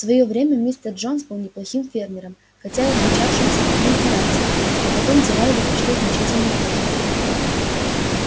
в своё время мистер джонс был неплохим фермером хотя и отличавшимся крутым характером но потом дела его пошли значительно хуже